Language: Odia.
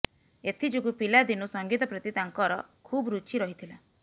ଏଥିଯୋଗୁ ପିଲାଦିନୁ ସଙ୍ଗୀତ ପ୍ରତି ତାଙ୍କର ଖୁବ୍ ଋଚି ରହିଥିଲା